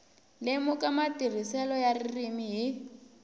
lemuka matirhiselo ya ririmi hi